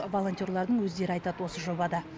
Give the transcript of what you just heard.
волонтерлардың өздері айтады осы жобада